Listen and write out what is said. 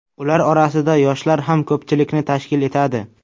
Ular orasida yoshlar ham ko‘pchilikni tashkil etadi.